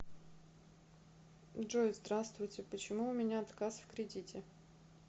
джой здравствуйте почему у меня отказ в кредите